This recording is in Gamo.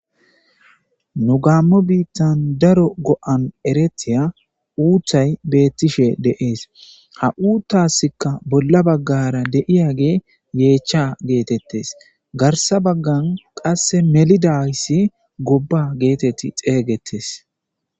nu gaammo biittan daro go7an eretiya uuthay beettishe deees ha uuttasikka bolla baggara deiya ge yeechcha geetettes garsa baggan qasse melidayssi gobba geetetti xeeygetes